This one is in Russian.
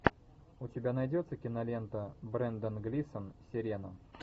у тебя найдется кинолента брендан глисон сирена